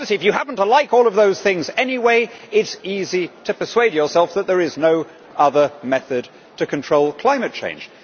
Now, obviously, if you happen to like all of those things anyway, it is easy to persuade yourself that there is no other method to control climate change.